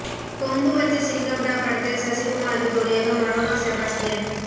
கொம்பு வச்ச சிங்கம்டா படத்தில் சசிகுமாருக்கு ஜோடியாக மடோனா செபாஸ்டியன்